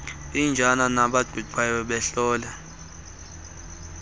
iintsana nabaqingqayo behlolwa